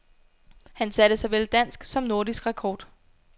Han satte såvel dansk som nordisk rekord.